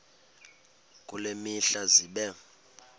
kule mihla zibe